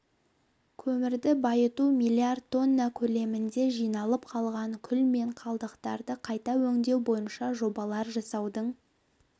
көмірді байыту миллиард тонна көлемінде жиналып қалған күл мен қалдықтарды қайта өңдеу бойынша жобалар жасаудың